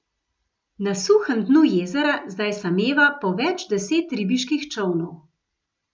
Na suhem dnu jezera zdaj sameva po več deset ribiških čolnov.